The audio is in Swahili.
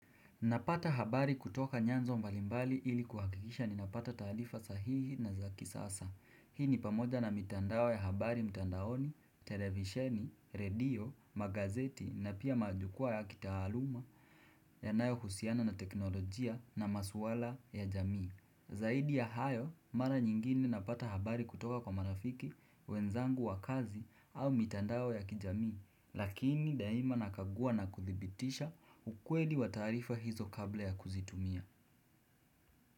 Napata habari kutoka nyanzo mbalimbali ili kuhakikisha ni napata taalifa sahihi na za kisasa. Hii ni pamoja na mitandao ya habari mtandaoni, televisheni, radio, magazeti na pia majukwaa ya kitaaluma ya nayo husiana na teknolojia na maswala ya jamii. Zaidi ya hayo, mara nyingine napata habari kutoka kwa marafiki, wenzangu wa kazi au mitandao ya kijamii, lakini daima nakagua na kuthibitisha ukweli wa taarifa hizo kabla ya kuzitumia.